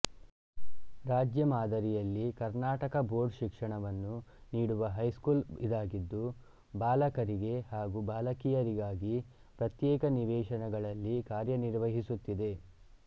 ರಾಜ್ಯ ಮಾದರಿಯಲ್ಲಿಕರ್ನಾಟಕ ಬೋರ್ಡ್ ಶಿಕ್ಷಣವನ್ನು ನೀಡುವ ಹೈಸ್ಕೂಲ್ ಇದಾಗಿದ್ದುಬಾಲಕರಿಗೆ ಹಾಗು ಬಾಲಕಿಯರಿಗಾಗಿ ಪ್ರತ್ಯೇಕ ನಿವೇಶನಗಳಲ್ಲಿ ಕಾರ್ಯನಿರ್ವಹಿಸುತ್ತಿದೆ